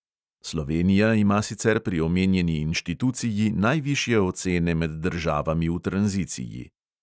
Slovenija ima sicer pri omenjeni inštituciji najvišje ocene med državami v tranziciji.